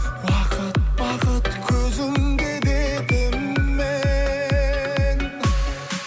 уақыт бақыт көзіңде дедім мен